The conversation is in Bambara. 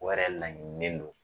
O yɛrɛ laɲinilen don.